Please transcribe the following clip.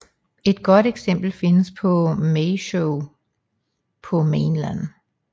Et godt eksempel findes på Maeshowe på Mainland